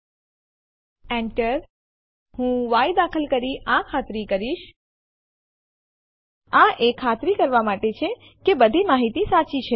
આ બધી ત્રણ ફાઈલો test1ટેસ્ટ2 એન્ડ ટેસ્ટ3 ને homeanirbantestdir ડિરેક્ટરીમાં તેમના નામ બદલ્યા વિના કોપી કરશે